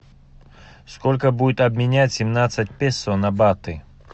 сколько будет обменять семнадцать песо на баты